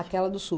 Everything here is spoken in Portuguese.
Aquela do Sul.